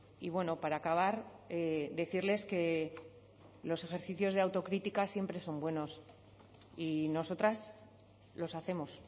y bueno para acabar decirles que los ejercicios de autocrítica siempre son buenos y nosotras los hacemos